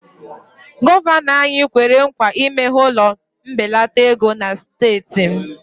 Gọvanọ anyị kwere nkwa imeghe ụlọ mbelata ego na steeti m